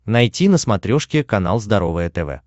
найти на смотрешке канал здоровое тв